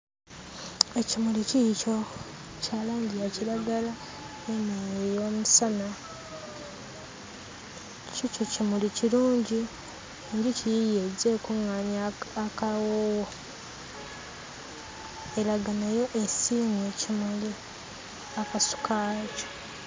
Ekimuli kiikyo, kya langi ya kiragala n'eno ey'omusana. Kiikyo kimuli kirungi, enjuki yiiyo ezze ekuŋŋaanya akawoowo, eraga nayo esiimye ekimuli akasu kaakyo.